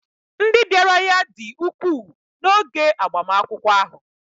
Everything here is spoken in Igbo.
ndị bịara ya dị ukwuu n'oge agbamakwụkwọ ahụ